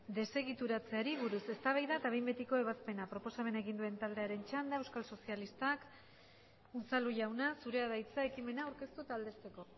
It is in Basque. desegituratzeari buruz eztabaida eta behin betiko ebazpena proposamena egin duen taldearen txanda euskal sozialistak unzalu jauna zurea da hitza ekimena aurkeztu eta aldezteko